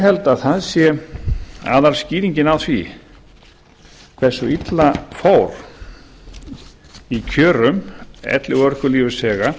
held að aðalskýringuna á því hversu illa fór í kjörum elli og örorkulífeyrisþega